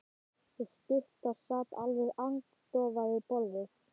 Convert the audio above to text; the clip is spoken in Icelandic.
Sú stutta sat alveg agndofa við borðið.